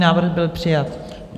Návrh byl přijat.